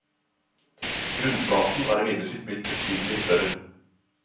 Grunnflaten er imidlertid blitt betydelig større.